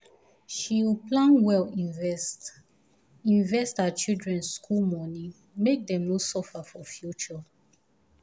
she plan well invest invest for her children school money make dem no suffer for future